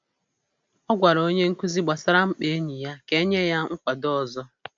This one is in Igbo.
Ọ gwara onye nkuzi gbasara mkpa enyi ya ka e nye ya nkwado ọzọ